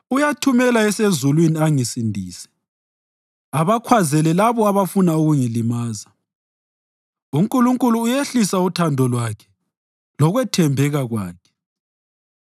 Uyathumela esezulwini angisindise, abakhwazele labo abafuna ukungilimaza. UNkulunkulu uyehlisa uthando lwakhe lokwethembeka kwakhe.